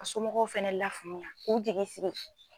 Ka somɔgɔw fɛnɛ lafaamuya k'u jigi sigi.